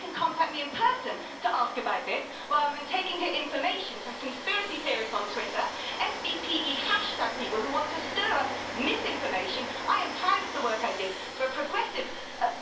she could contact me in person to ask about this rather than taking her information from conspiracy theories on Twitter and FBPE hashtag people who want to stir up misinformation. I am proud of the work I did for a progressive